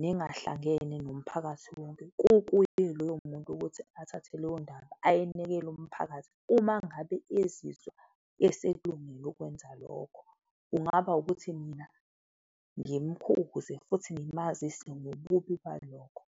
nengahlangene nomphakathi wonke. Kukuye loyo muntu ukuthi athathe leyo ndaba ayenekele umphakathi uma ngabe ezizwa eselungele ukukwenza lokho, kungaba ukuthi mina ngimkhuze futhi ngimazise ngobubi balokho.